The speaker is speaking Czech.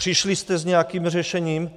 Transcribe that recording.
Přišli jste s nějakým řešením?